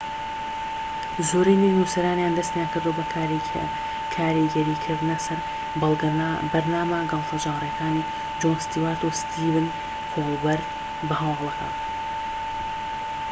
زۆرینەی نوسەرانیان دەستیان کردووە بە کاریگەریکردنە سەر بەرنامە گاڵتەجاڕیەکانی جۆن ستیوارت و ستیڤن کۆڵبەرت بە هەواڵەکان